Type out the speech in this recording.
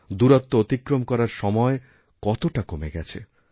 দূরত্ব অতিক্রম করার সময় কতটা কমে গেছে